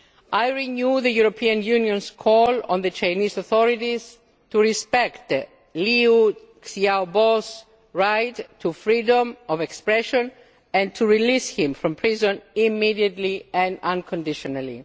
I renew the European Union's call on the Chinese authorities to respect Liu Xiaobo's right to freedom of expression and to release him from prison immediately and unconditionally.